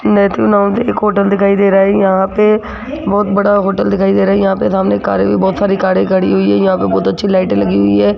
एक होटल दिखाई दे रहा है यहां पे बहोत बड़ा होटल दिखाई दे रहा है यहां पे सामने कारे भी बहोत सारी कारे खड़ी हुई है यहां पर बहोत अच्छी लाइट लगी हुई है।